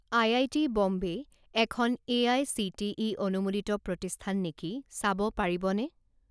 IIT Bombay এখন AICTE অনুমোদিত প্ৰতিষ্ঠান নেকি চাব পাৰিবনে?